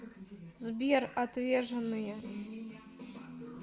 сбер отвеженные